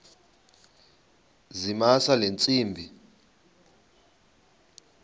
zamisa le ntsimbi